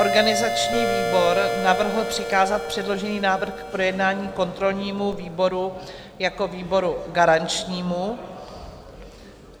Organizační výbor navrhl přikázat předložený návrh k projednání kontrolnímu výboru jako výboru garančnímu.